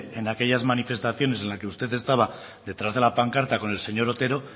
en aquellas manifestaciones en la que usted estaba detrás de la pancarta con el señor otero